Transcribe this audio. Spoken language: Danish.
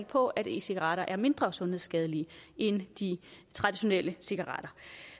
på at e cigaretter er mindre sundhedsskadelige end de traditionelle cigaretter